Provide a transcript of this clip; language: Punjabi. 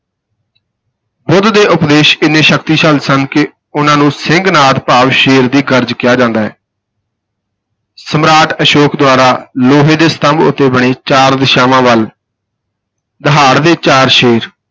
ਬੁੱਧ ਦੇ ਉਪਦੇਸ਼ ਇੰਨੇ ਸ਼ਕਤੀਸ਼ਾਲੀ ਸਨ ਕਿ ਉਨ੍ਹਾਂ ਨੂੰ ਸਿੰਘਨਾਦ, ਭਾਵ ਸ਼ੇਰ ਦੀ ਗਰਜ ਕਿਹਾ ਜਾਂਦਾ ਹੈ ਸਮਰਾਟ ਅਸ਼ੋਕ ਦੁਆਰਾ ਲੋਹੇ ਦੇ ਸਤੰਭ ਉੱਤੇ ਬਣੇ ਚਾਰ ਦਿਸ਼ਾਵਾਂ ਵੱਲ ਦਹਾੜਦੇ ਚਾਰ ਸ਼ੇਰ,